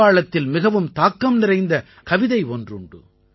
வங்காளத்தில் மிகவும் தாக்கம் நிறைந்த கவிதை ஒன்றுண்டு